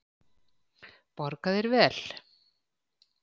Borga þeir vel?